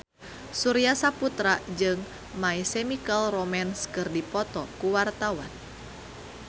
Surya Saputra jeung My Chemical Romance keur dipoto ku wartawan